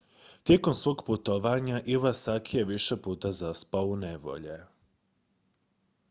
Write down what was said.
tijekom svog putovanja iwasaki je više puta zapao u nevolje